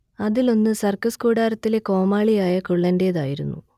അതിൽ ഒന്ന് സർക്കസ് കൂടാരത്തിലെ കോമാളിയായ കുള്ളന്റേതായിരുന്നു